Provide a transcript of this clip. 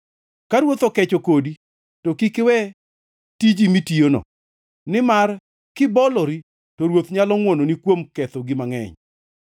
Ka ruoth okecho kodi, to kik iwe tiji mitiyono; nimar kibolori to ruoth nyalo ngʼwononi kuom kethogi mangʼeny.